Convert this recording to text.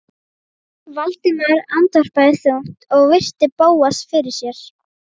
Valdimar andvarpaði þungt og virti Bóas fyrir sér.